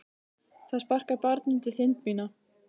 Það sparkar barn undir þind mína.